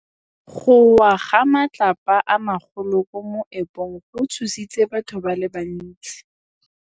Go wa ga matlapa a magolo ko moepong go tshositse batho ba le bantsi.